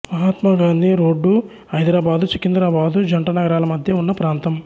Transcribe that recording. Mahatma Gandhi road Hyderabad Secunderabad జంట నగరాల మధ్య ఉన్న ప్రాంతం